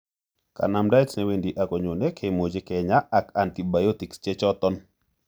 Kanamdaet ne wendi agonyone kimuche kinya ak antibiotics che choton.